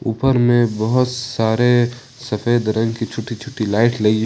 ऊपर में बहुत सारे सफेद रंग की छोटी छोटी लाइट लगी--